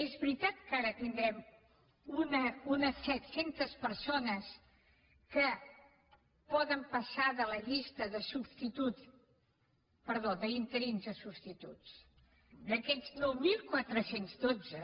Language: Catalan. és veritat que ara tindrem unes set cents persones que poden passar de la llista d’interins a substituts d’aquests nou mil quatre cents i dotze